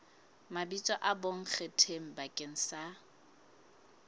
mabitso a bonkgetheng bakeng sa